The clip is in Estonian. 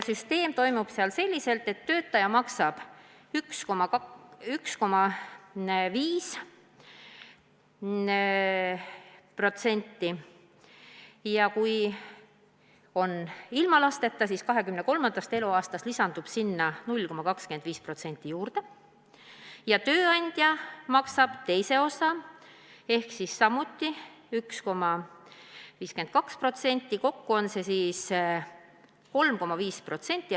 Süsteem toimib seal nii, et töötaja maksab 1,5%, ja kui ta on ilma lasteta, siis 23. eluaastast lisandub sellele 0,25%, ja tööandja maksab teise osa ehk 1,52%.